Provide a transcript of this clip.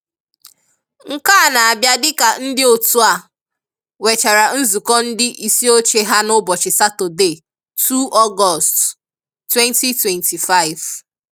Nkè à na-abịà dịkà ndị̀ otù à nwèchàrà nzukọ̀ ndị̀ isìọ̀chè hà n’ụ̀bọchị̀ Sátọ̀dè 2 Ọ̀gọ̀st, 2025.